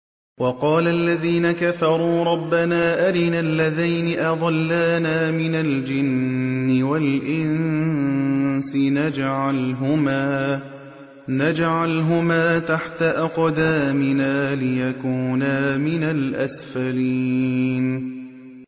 وَقَالَ الَّذِينَ كَفَرُوا رَبَّنَا أَرِنَا اللَّذَيْنِ أَضَلَّانَا مِنَ الْجِنِّ وَالْإِنسِ نَجْعَلْهُمَا تَحْتَ أَقْدَامِنَا لِيَكُونَا مِنَ الْأَسْفَلِينَ